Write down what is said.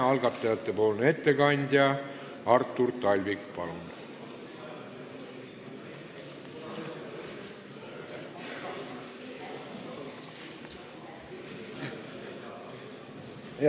Algatajate ettekandja Artur Talvik, palun!